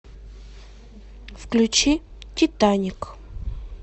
включи титаник